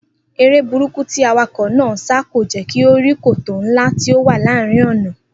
Eré burúkú tí awakò̩ náà ń sá kò jé̩ kí ó rí kòtò ńlá tí ó wà láàárín ò̩nà